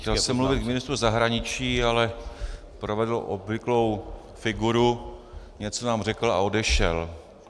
Chtěl jsem mluvit k ministru zahraničí, ale provedl obvyklou figuru, něco nám řekl a odešel.